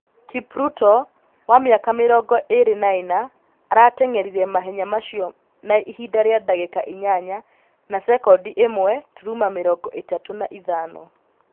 Kipruto, wa mĩaka mĩrongo ĩrĩ na ĩna, arateng'erire mahenya macio na Ihinda rĩa ndagĩka inyanya na sekondi ĩmwe turuma mĩrongo ĩtatũ na ithano.